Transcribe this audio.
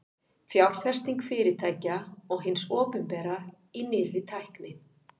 Fjárfesting fyrirtækja og hins opinbera í nýrri tækni.